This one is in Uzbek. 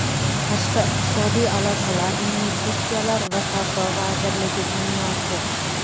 Tashqi iqtisodiy aloqalar, investitsiyalar va savdo vazirligi binosi.